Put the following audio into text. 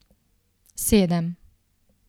Sedem.